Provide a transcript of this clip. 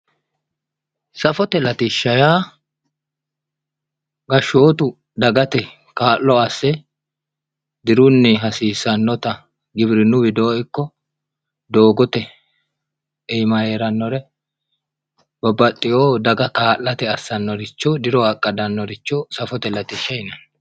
safote latishsha yaa gashshootu dagate kaa'lo asse dirunni hasiisannota giwirinnu widoo ikko doogote iima heerannore babbaxiyo daga kaa'late assonoricho diro aggadannoricho safote latishsha yineemo